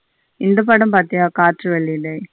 இந்த படம் பாத்திய காற்றுவெளிஇடை.